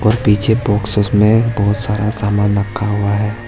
और पीछे बॉक्सेस में बहुत सारा सामान रखा हुआ है।